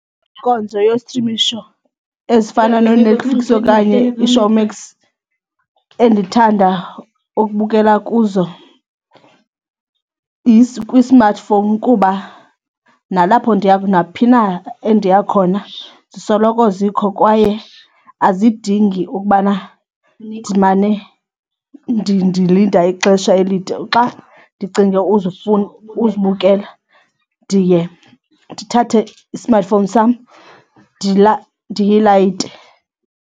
Inkonzo yostrimisho ezifana nooNetflix okanye iShowmax endithanda ukubukela kuzo kwi-smartphone kuba nalapho ndiya naphi na endiya khona zisoloko zikho kwaye azidingi ukubana ndimane ndilinda ixesha elide. Xa ndicinge uzibukela ndiye ndithathe i-smartphone sam ndiyilayite.